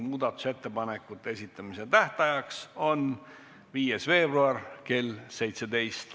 Muudatusettepanekute esitamise tähtajaks on 5. veebruar kell 17.